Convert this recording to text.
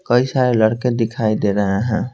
कई सारे लड़के दिखाई दे रहे हैं।